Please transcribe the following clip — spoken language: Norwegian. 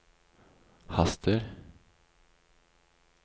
haster